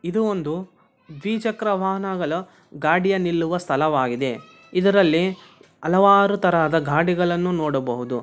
ಇದು ಒಂದು ದ್ವಿ ಚಕ್ರ ವಾಹನಗಳ ಗಾಡಿಯ ನಿಲ್ಲುವ ಸ್ಥಳವಾಗಿದೆ ಇದರಲ್ಲಿ ಹಲವಾರು ತರದ ಗಾಡಿಗಳನ್ನು ನೋಡಬಹುದು.